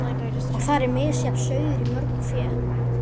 Og þar er misjafn sauður í mörgu fé.